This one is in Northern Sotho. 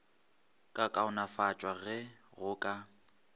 ka kaonafatšwa ge go ka